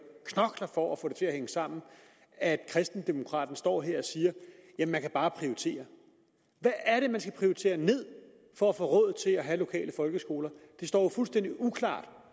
knokler for at få det til at hænge sammen at kristendemokraterne står her og siger at man bare kan prioritere hvad er det man skal prioritere ned for at få råd til at have lokale folkeskoler det står jo fuldstændig uklart